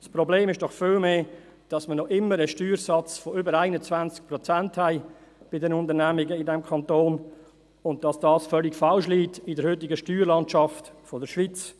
Das Problem ist doch vielmehr, dass wir noch immer einen Steuersatz von über 21 Prozent bei den Unternehmen in diesem Kanton haben, und dass dieser in der heutigen schweizerischen Steuerlandschaft völlig quer liegt.